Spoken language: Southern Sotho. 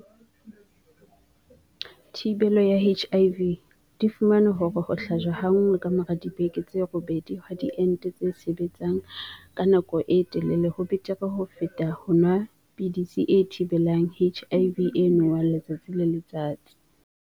Thi-belo ya HIV, di fumane hore ho hlajwa ha nngwe ka mora dibeke tse robedi ha diente tse sebetsang ka nako e telele ho betere ho feta ho nwa pidisi e thibelang HIV e nwewang letsatsi le letsatsi.